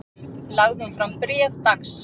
Lagði hún fram bréf dags